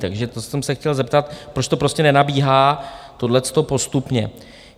Takže to jsem se chtěl zeptat, proč to prostě nenabíhá tohleto postupně.